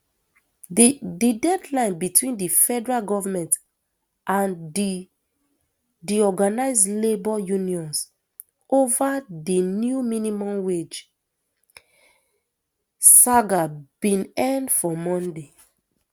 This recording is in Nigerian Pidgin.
di deadline between di federal goment and di di organised labour unions ova di new minimum wage saga bin end for monday